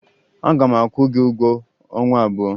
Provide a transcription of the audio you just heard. Aga m akwụ gị ụgwọ ọnwa abụọ.